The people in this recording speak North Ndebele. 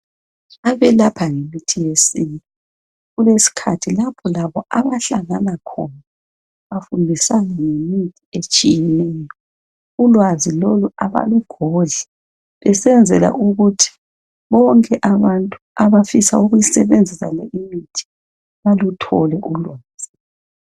Abelapha ngemithi yesintu kulesikhathi lapho labo abahlangana khona bafundisane ngemithi etshiyeneyo ulwazi lolo abalugodli besenzela ukuthi bonke abantu abafisa ukusebenzisa le imithi baluthole ulwazi.